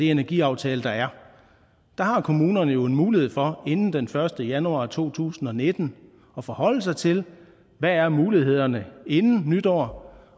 energiaftale der er har kommunerne jo en mulighed for inden den første januar to tusind og nitten at forholde sig til hvad er mulighederne inden nytår